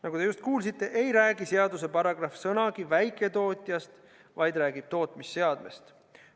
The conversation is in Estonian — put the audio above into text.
Nagu te just kuulsite, ei räägi seaduse paragrahv sõnagi väiketootjast, vaid räägib tootmisseadmest.